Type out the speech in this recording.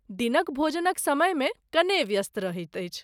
दिनक भोजनक समयमे कने व्यस्त रहैत अछि।